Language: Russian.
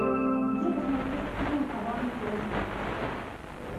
где посмотреть фильм аванпост